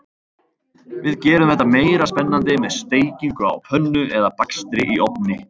Við gerum þetta meira spennandi með steikingu á pönnu eða bakstri í ofni.